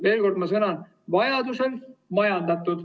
Veel kord: vajaduse korral majandatud.